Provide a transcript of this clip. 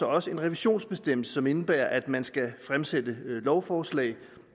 også en revisionsbestemmelse som indebærer at man skal fremsætte lovforslag